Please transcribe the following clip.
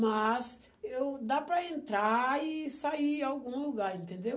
Mas eu dá para entrar e sair em algum lugar, entendeu?